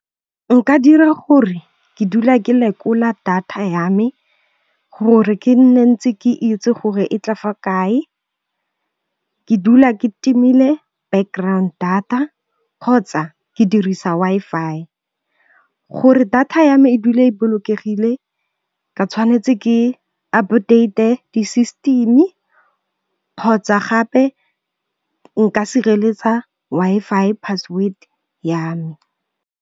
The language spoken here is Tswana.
Nka dira gore ke dula ke lekola data ya me, gore ke nne ntse ke itse gore e tla fa kae, ke dula ke timile background data, kgotsa ke dirisa Wi-Fi. Gore data ya me e dula e bolokegile ke tshwanetse ke update-e di-system-e kgotsa gape nka sireletsa Wi-Fi password ya me.